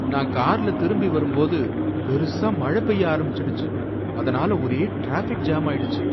நான் கார்ல திரும்பி வரும்போது பெருசா மழை பெய்ய ஆரம்பிச்சுடுச்சு அதனால ஒரே டிராபிக் ஜாம் ஆயிடுச்சு.